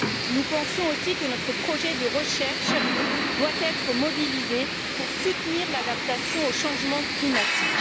Nous pensons aussi que notre projet de recherche doit être mobilisé pour soutenir l'adaptation au changement climatique.